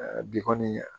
Bi kɔni